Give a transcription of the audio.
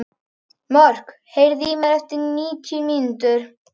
Mörk, heyrðu í mér eftir níutíu mínútur.